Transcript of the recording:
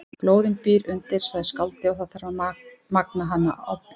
Glóðin býr undir, sagði skáldið, og það þarf að magna hana í bál.